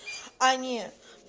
а не